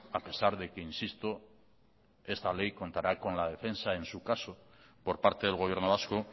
a pesar de que insisto que esta ley contará con la defensa en su caso por parte del gobierno vasco